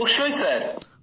অবশ্যই স্যার